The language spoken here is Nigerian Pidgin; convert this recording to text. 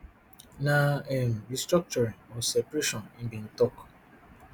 na um restructuring or separation e bin tok